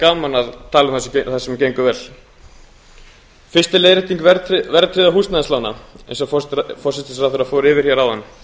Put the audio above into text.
gaman að tala um það sem gengur vel fyrsta leiðrétting verðtryggðra húsnæðislána eins og forsætisráðherra fór yfir hér áðan